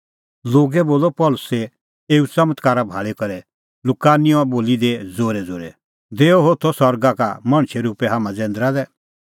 लोगै बोलअ पल़सीए एऊ च़मत्कारा भाल़ी करै लुकानिआ बोली दी ज़ोरैज़ोरै देअ होथै सरगा का मणछे रुपै हाम्हां जैंदरा लै